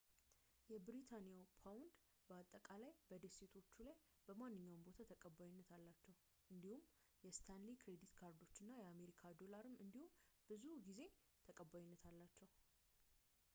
የብሪታንያ ፓውንድ በአጠቃላይ በደሴቶቹ ላይ በማንኛውም ቦታ ተቀባይነት አላቸው እንዲሁም የስታንሊ የክሬዲት ካርዶች እና የአሜሪካ ዶላርም እንዲሁ ብዙውን ጊዜ ተቀባይነት አላቸው